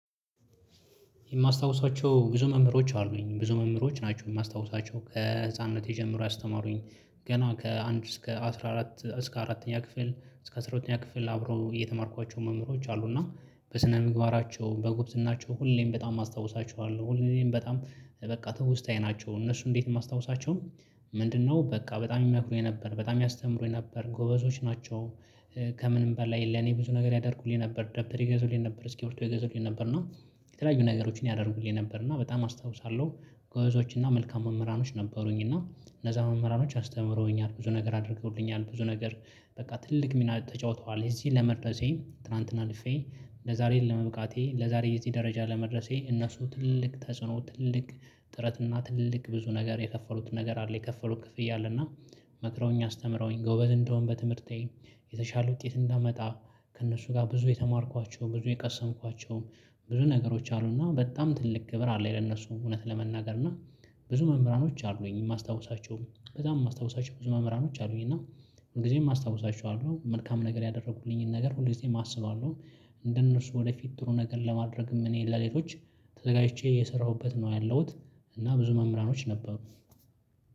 የማስታውሳቸው ብዙ መምህሮች አሉኝ ብዙ መምህሮች ናቸው የማስታውሳቸው ከህፃንነት የጀመሩ ያስተማሩኝ ገና ከአንድ እስከ አስራ አራት እስከ አራተኛ ክፍል እስከ አስራ ሁለተኛ ክፍል አብረው እየተማርኳቸው መምህሮች አሉ እና በስነ ምግባራቸው በጉብዝናቸው ሁሌም በጣም አስታውሳቸዋለሁ ሁሌም በጣም በቃ ትውስታዬ ናቸው። እነሱ እንዴት የማስታውሳቸውም? ምንድነው በቃ በጣም ይመክሩኝ ነበር በጣም ያስተምሩኝ ነበር ጎበዞች ናቸው። ከምንም በላይ ለኔ ብዙ ነገር ያደርጉልኝ ነበር ደብተር ይገዙልኝ ነበር እስኪሪብቶ ይገዙልኝ ነበር እና የተለያዩ ነገሮችን ያደርጉልኝ ነበር እና በጣም አስታውሳለሁ። ጎበዞች እና መልካም መምህራኖች ነበሩኝ። እና እነዛ መምህራኖች አስተምረውኛል ብዙ ነገር አድርገውልኛል ብዙ ነገር በቃ ትልቅ ሚና ተጫውተዋል። እዚህ ለመድረሴ ትላንትና አልፌ ለዛሬ ለመብቃቴ ለዛሬ እዚህ ደረጃ ለመድረሴ እነሱ ትልቅ ተጽዕኖ ትልቅ ጥረትና ትልቅ ብዙ ነገር የከፈሉት ነገር አለ የከፈሉት ክፍያ አለ። እና መክረውኝ አስተምረውኝ ጎበዝ እንደሆን በትምህርቴ የተሻለ ውጤት እንዳመጣ ከእነሱ ጋር ብዙ የተማርኳቸው ብዙ የቀሰምኳቸውም ብዙ ነገሮች አሉና በጣም ትልቅ ክብር አለኝ። ለእነሱም እውነት ለመናገርና ብዙ መምህራኖች አሉኝ የማስታውሳቸውም በጣም የማስታውሳቸው ብዙ መምህራኖች አሉኝ እና ሁልጊዜም አስታውሳችኋለሁ መልካም ነገር ያደረኩልኝን ነገር ሁልጊዜም አስባለሁ። እንደነርሱ ወደፊት ጥሩ ነገር ለማድረግም እኔ ለሌሎች ተዘጋጅቼ የሰራሁበት ነው ያለሁት። እና ብዙ መምህራኖች ነበሩ።